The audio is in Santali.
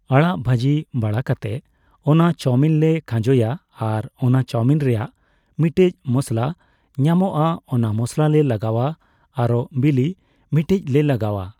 ᱟᱲᱟᱜ ᱵᱷᱟᱡᱤ ᱵᱟᱲᱟ ᱠᱟᱛᱮ ᱚᱱᱟ ᱪᱟᱣᱢᱤᱱ ᱞᱮ ᱠᱷᱟᱡᱚᱭᱟ ᱟᱨ ᱚᱱᱟ ᱪᱟᱣᱢᱤᱱ ᱨᱮᱱᱟᱜ ᱢᱤᱴᱮᱡ ᱢᱚᱥᱞᱟ ᱧᱟᱢᱚᱜᱼᱟ ᱚᱱᱟ ᱢᱚᱥᱞᱟ ᱞᱮ ᱞᱟᱜᱟᱣᱟ ᱟᱨᱳ ᱵᱤᱞᱤ ᱢᱤᱴᱮᱡᱞᱮ ᱞᱟᱜᱟᱣᱟ᱾